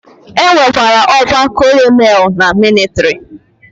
E nwekwara ọkwa colonel na mịlịtrị.